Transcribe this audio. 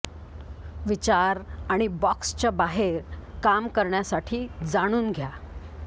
विचार आणि बॉक्सच्या बाहेर काम करण्यासाठी जाणून घ्या